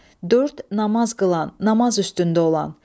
Dörd, namaz qılan, namaz üstündə olan.